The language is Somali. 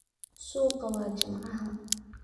Suuqa waa Jimcaha.